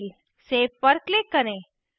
save पर click करें